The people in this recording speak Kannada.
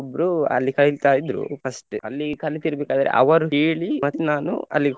ಒಬ್ರೂ ಅಲ್ಲಿ ಕಲಿತಾ ಇದ್ರು first ಅಲ್ಲಿ ಕಲಿತಿರ್ಬೇಕಾದ್ರೆ ಅವರು ಹೇಳಿ ಮತ್ ನಾನು ಅಲ್ಲಿಗ್.